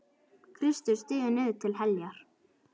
Kristur stígur niður til heljar.